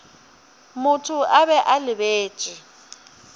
motho a be a lebeletše